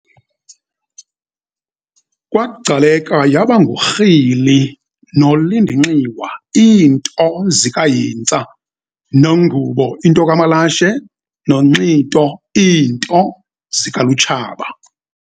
KwaGcaleka yaba nguRhili noLindinxiwa iinto zikaHintsa, noNgubo into kaMalashe, noNxito iinto zikaLutshaba.